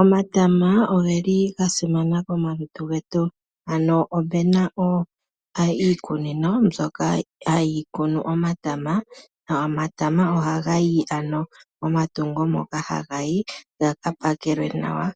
Omatama oge li ga simana komalutu getu, ano opena iikunino mbyoka hayi kunu omatama, nomatama ohaga yi ano momatungo moka haga yi gaka pakelwe nawa,